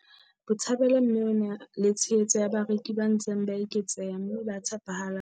Botshabelo mme o na le tshehetso ya bareki ba ntseng ba eketseha mme ba tshepahalang.